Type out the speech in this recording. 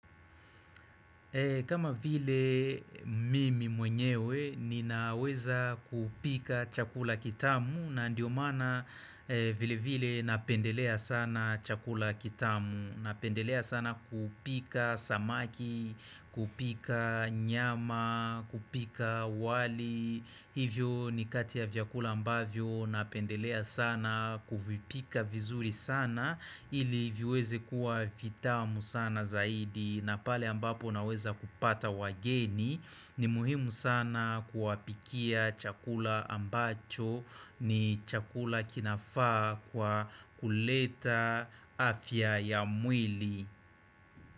Kama vile, mimi mwenyewe ninaweza kupika chakula kitamu na ndiyo maana vile vile napendelea sana chakula kitamu. Napendelea sana kupika samaki, kupika nyama, kupika wali Hivyo ni kati ya vyakula ambavyo napendelea sana kuvipika vizuri sana ili viweze kuwa vitamu sana zaidi na pale ambapo naweza kupata wageni, ni muhimu sana kuwapikia chakula ambacho ni chakula kinafaa kwa kuleta afya ya mwili.